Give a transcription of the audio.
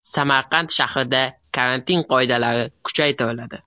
Samarqand shahrida karantin qoidalari kuchaytiriladi.